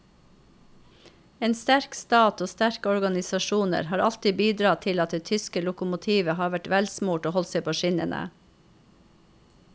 En sterk stat og sterke organisasjoner har alltid bidratt til at det tyske lokomotivet har vært velsmurt og holdt seg på skinnene.